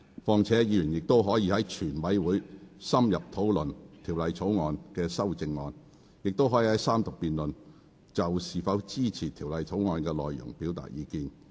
況且，議員仍可在全體委員會審議期間深入討論《條例草案》的修正案，亦可在三讀辯論中，就是否支持《條例草案》的內容表達意見。